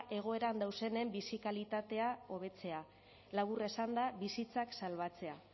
egoeran daudenen bizi kalitatea hobetzea labur esanda bizitzak salbatzea